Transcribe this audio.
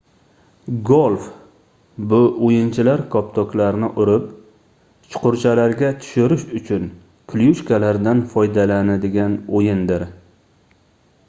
golf bu oʻyinchilar koptoklarni urib chuqurchalarga tushirish uchun klyushkalardan foydalanadigan oʻyindir